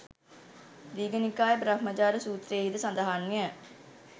දීඝනිකාය බ්‍රහ්මජාල සූත්‍රයෙහි ද සඳහන්ය.